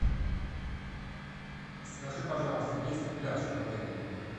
скажи пожалуйста есть ли пляж в отеле